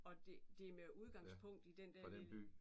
Og det det med udgangspunkt i den der lille